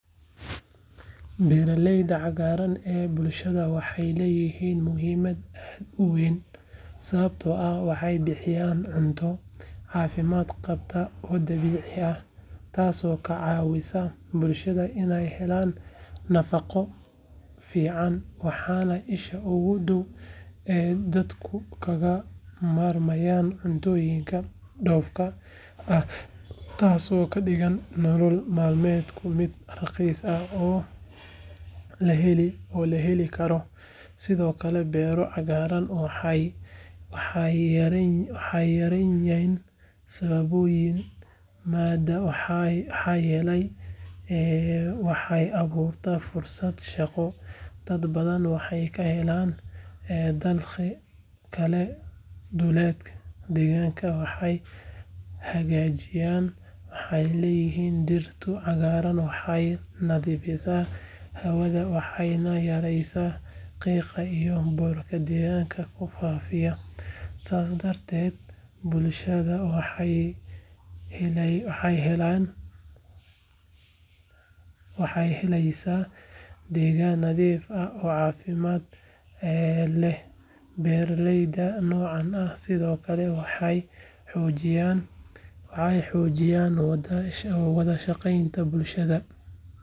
Beeraleyda cagaaran ee bulshadu waxay leeyihiin muhiimad aad u weyn sababtoo ah waxay bixiyaan cunto caafimaad qabta oo dabiici ah taasoo ka caawisa bulshada inay helaan nafaqo fiicanwaana isha ugu dhow ee dadku kaga maarmayaan cuntooyinka dhoofka ah taasoo ka dhigaysa nolol maalmeedka mid raqiis ah oo la heli karosidoo kale beero cagaaran waxay yareeyaan saboolnimada maxaa yeelay waxay abuuraan fursado shaqo dad badanna waxay ka helaan dakhlokale duleedka deegaanka way hagaajiyan maxaa yeelay dhirta cagaaran waxay nadiifisaa hawada waxayna yaraysaa qiiqa iyo boorka deegaanka ku faafashidaas darteed bulshada waxay helaysaa deegaan nadiif ah oo caafimaad lehbeeraleyda noocan ah sidoo kale waxay xoojiyaan wada shaqaynta bulshada.